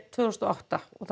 tvö þúsund og átta það